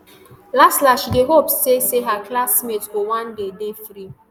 laslas she dey hope say say her classmates go one day dey free